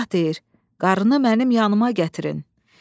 Şah deyir: "Qarını mənim yanııma gətirin."